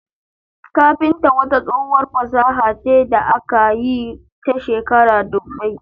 Kafinta wata tsohuwar fasaha ce da aka yi ta shekaru dubbai.